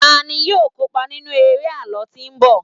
tani yíò kópa nínú eré àlọ tí nbọ